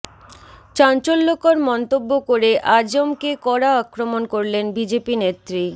চাঞ্চল্যকর মন্তব্য করে আজমকে কড়া আক্রমণ করলেন বিজেপি নেত্রী